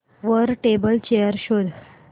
वर table chair शोध